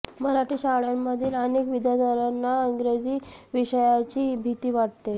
मराठी शाळांमधील अनेक विद्यार्थ्यांना इंग्रजी विषयाची भीती वाटते